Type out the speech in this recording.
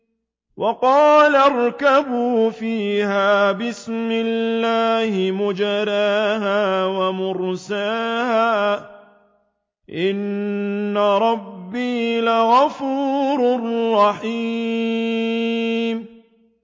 ۞ وَقَالَ ارْكَبُوا فِيهَا بِسْمِ اللَّهِ مَجْرَاهَا وَمُرْسَاهَا ۚ إِنَّ رَبِّي لَغَفُورٌ رَّحِيمٌ